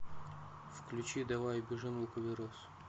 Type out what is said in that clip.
включи давай убежим лукаверос